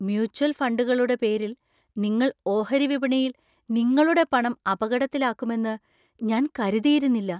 Mutual ഫണ്ടുകളുടെ പേരിൽ നിങ്ങൾ ഓഹരി വിപണിയിൽ നിങ്ങളുടെ പണം അപകടത്തിലാക്കുമെന്ന് ഞാൻ കരുതിയിരുന്നില്ല.